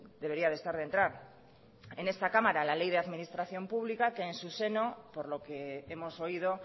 debería de estar de entrar en esta cámara la ley de administración pública que en su seno por lo que hemos oído